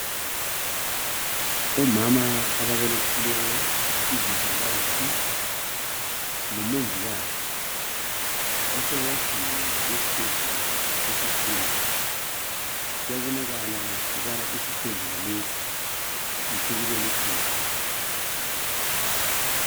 Omama ababelithileyo izivakatshi lomongikazi basewadini yesibhedlela esikhulu, kuyabonakala ukubana isibhedlela lesi ngesokubelethela.